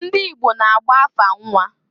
Ndị Igbo na-agba afa nnwa.